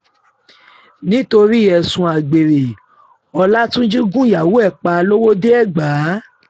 nítorí ẹ̀sùn àgbèrè ọlátúnjì gun ìyàwó ẹ̀ pa lọ́wọ́de-ẹ̀gbà